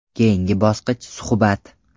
Keyingi bosqich suhbat.